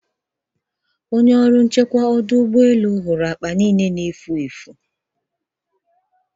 onye ọrụ nchekwa ọdụ ụgbọ elu hụrụ akpa niile efu